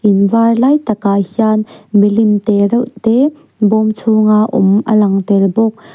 in var lai takah hian milim te reuh te bawm chhung a awm a lang tel bawk.